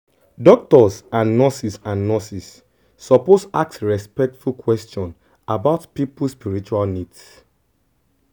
doctors and nurses and nurses suppose ask respectful question about people spiritual needs